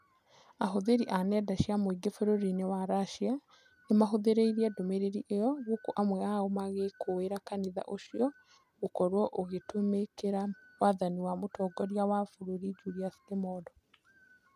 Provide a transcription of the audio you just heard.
Ahũthĩri a nenda cia mũingi bũrũri-inĩ wa Russia nĩmahũthĩrĩirie ndũmĩrĩri ĩyo gũkũ amwe ao magĩkũĩra kanitha ũcio gũkorwo "ũgĩtũmĩkĩra wathani wa mũtongoria wa bũrũri Julius Kimondo"